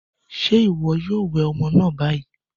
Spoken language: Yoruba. Ṣé iwọ yòò wẹ ọmọ náà ni bayí?